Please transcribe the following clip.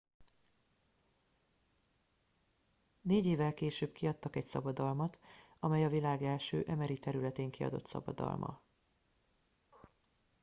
négy évvel később kiadtak egy szabadalmat amely a világ első mri területén kiadott szabadalma